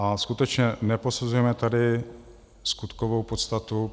A skutečně neposuzujme tady skutkovou podstatu.